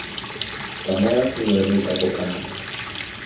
tsamaya gongwe re tla kopana